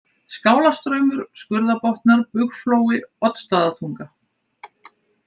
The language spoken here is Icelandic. Skálastraumur, Skurðabotnar, Bugflói, Oddstaðatunga